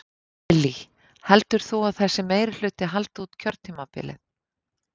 Lillý: Heldur þú að þessi meirihluti haldi út kjörtímabilið?